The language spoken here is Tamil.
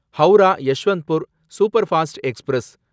Howrah Yesvantpur superfast express